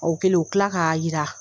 O kɛlen u tilala k'a yira.